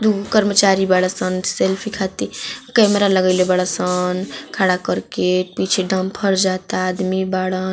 दुगो कर्मचारी बारअसन सेल्फी खातिर कैमरा लगईले बारअसन खड़ा करके पीछे डंपर जाता आदमी बारन।